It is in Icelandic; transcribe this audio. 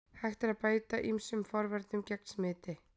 Hægt er að beita ýmsum forvörnum gegn smiti.